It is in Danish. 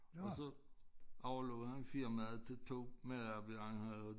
Og så overlod han firmaet til 2 medarbejdere han havde